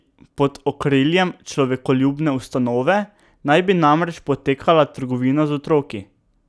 Pod okriljem človekoljubne ustanove naj bi namreč potekala trgovina z otroki.